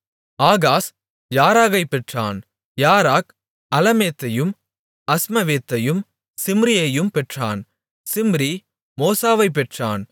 Ahaz யாராகைப் பெற்றான் யாராக் அலமேத்தையும் அஸ்மவேத்தையும் சிம்ரியையும் பெற்றான் சிம்ரி மோசாவைப் பெற்றான்